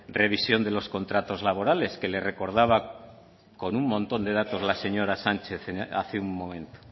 revisión de los contratos laborales que le recordaba con un montón de datos la señora sánchez hace un momento